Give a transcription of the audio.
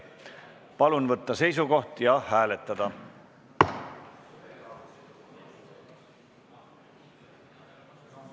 Palun võtta seisukoht ja hääletada!